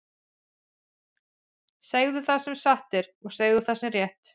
Segðu það sem satt er, og segðu það sem er rétt!